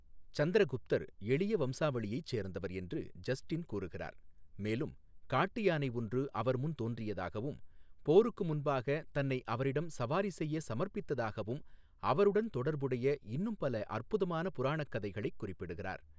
சந்திரகுப்தர் எளிய வம்சாவளியைச் சேர்ந்தவர் என்று ஜஸ்டின் கூறுகிறார், மேலும் காட்டு யானை ஒன்று அவர்முன் தோன்றியதாகவும், போருக்கு முன்பாக தன்னை அவரிடம் சவாரி செய்ய சமர்ப்பித்ததாகவும் அவருடன் தொடர்புடைய இன்னும் பல அற்புதமான புராணக் கதைகளைக் குறிப்பிடுகிறார்.